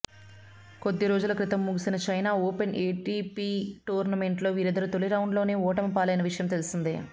కొద్ది రోజుల క్రితం ముగిసిన చెన్నై ఓపెన్ ఎటిపి టోర్నమెంట్లో వీరిద్దరూ తొలి రౌండ్లోనే ఓటమిపాలైన విషయం తెలిసిందే